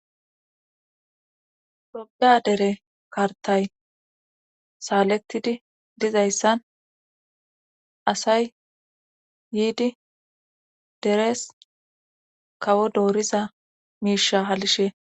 ltophiya dere kartay saalettidi dizayssan asay yiidi deres kawo dooriza miisha halishe